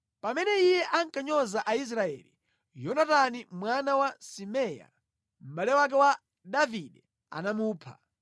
Pamene iye ankanyoza Aisraeli, Yonatani mwana wa Simea, mʼbale wake wa Davide anamupha.